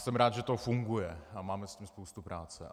Jsem rád, že to funguje, a máme s tím spoustu práce.